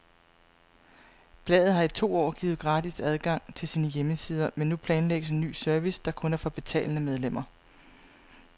Bladet har i to år givet gratis adgang til sine hjemmesider, men nu planlægges en ny service, der kun er for betalende medlemmer.